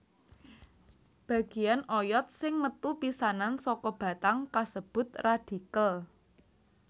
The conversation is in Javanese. Bagéyan oyod sing metu pisanan saka batang kasebut radikel